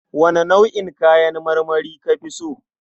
Wane nau'in kayan marmari ka fi so?